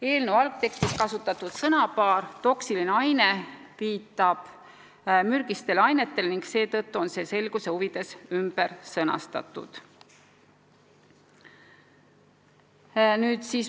Eelnõu algtekstis kasutatud sõnapaar "toksiline aine" viitab mürgistele ainetele ning seetõttu on see selguse huvides ümber sõnastatud.